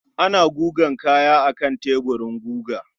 Ana gugan kaya akan teburin guga.